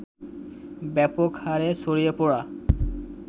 ব্যাপক হারে ছড়িয়ে পড়া